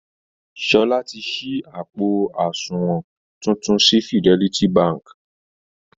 Sọlá ti ṣí àpò àsunwọ̀n tuntun sí Fidelity Bank